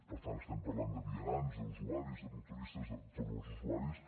per tant estem parlant de vianants d’usuaris de motoristes de tots els usuaris